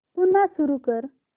पुन्हा सुरू कर